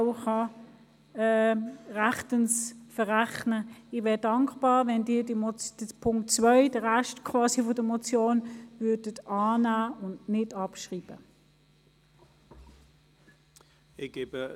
Ich wäre dankbar, wenn Sie den Punkt 2, quasi den Rest dieser Motion, annehmen und nicht abschreiben würden.